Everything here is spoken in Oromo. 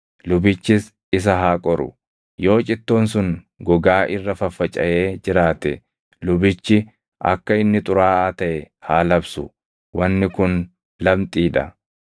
Lubichis isa haa qoru; yoo cittoon sun gogaa irra faffacaʼee jiraate lubichi akka inni xuraaʼaa taʼe haa labsu; wanni kun lamxii dha.